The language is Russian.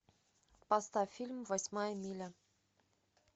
поставь фильм восьмая миля